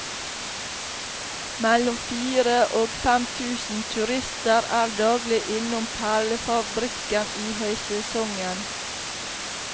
Mellom fire og fem tusen turister er daglig innom perlefabrikken i høysesongen.